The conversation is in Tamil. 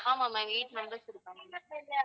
ஆமா ma'am eight members இருக்காங்க